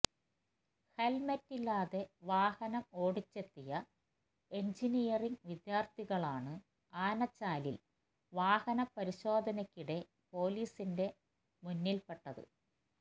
ഹെല്മറ്റില്ലാതെ വാഹനം ഓടിച്ചെത്തിയ എഞ്ചിനീയറിംഗ് വിദ്യാര്ഥികളാണ് ആനച്ചാലില് വാഹനപരിശോധനയ്ക്കിടെ പൊലീസിന്റെ മുന്നില്പ്പെട്ടത്